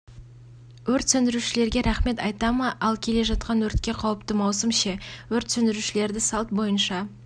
өрт сөндірушілерге рахмет айта ма ал келе жатқан өртке қауіпті маусым ше өрт сөндірушілерді салт бойынша